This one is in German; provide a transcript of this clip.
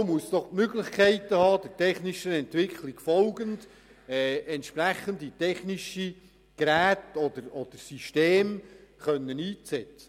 Die Kapo muss doch Möglichkeiten haben, der technischen Entwicklung zu folgen und entsprechende technische Geräte oder Systeme einzusetzen.